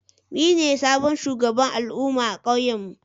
Ni ne sabon shugaban al'umma a kauyen mu.